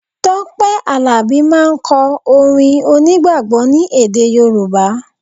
Tọ́pẹ́ Àlàbí máà ń kọ orin onígbàgbọ́ ni èdè Yorùbá